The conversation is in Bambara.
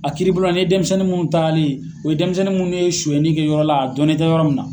A kiribUlon na, ni ye dɛnmisɛnnin mun tagalen ye, o ye dɛnmisɛnnin mnnu de ye suɲɛni kɛ yɔrɔ la a dɔnnen tɛ yɔrɔ min na.